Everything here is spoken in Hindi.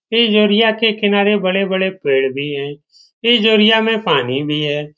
के किनारे बड़े-बड़े पेड़ भी है में पानी भी है।